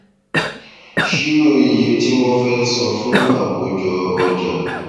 ṣírò iye tí wọn fẹ san fún akójọ ọjà